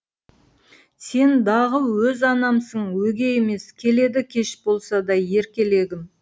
сен дағы өз анамсың өгей емес келеді кеш болса да еркелегім